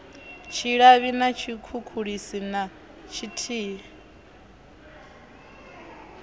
tshilavhi na tshikhukhulisi na tshithihi